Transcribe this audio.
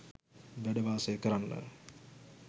වැඩ වාසය කරන්න